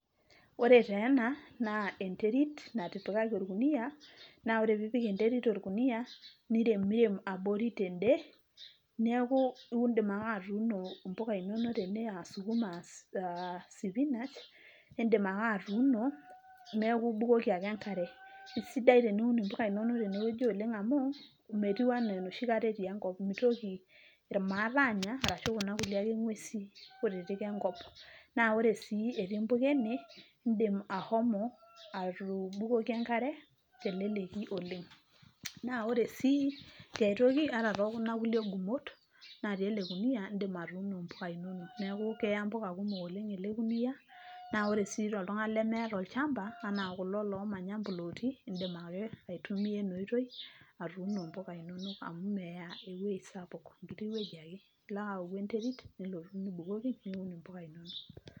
Ore taa ena naa enterit natipikaki orkunia, naa ore piipik enterit orkunia, nirerem abori ten`de niaku indim naake atuuno mpuka inonok tene aa sukuma , aa spinach indimake atuuno , neeku ibukoki ake enkare . Kisidai teniun impuka inonok tene wueji amu metiu anaa enoshi kata etii enkop , mitoki irmaat anya ashu kuna ake kulie ngwesin kutitik enkop . Naa ore sii impuka ene indimahomo atubukoki enkare teleleki oleng. Naa ore sii tiay toki ata tookuna gumot natii ele kunia indim inonok, niakukeya impuka kumok ele kunia naa ore sii toltungani lemeeta olchamba anaa kulo lomanya plooti indim ake aitumia ena oitoi atuuno mpuka inonok amu meya ewuejio sapuk enkiti wueji ake ,ilo ake aouk enterit nilotu aun imupka inonok.